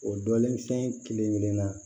O dɔlen fɛn kelen kelenna